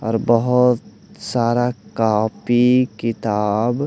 और बहुत सारा कॉपी किताब--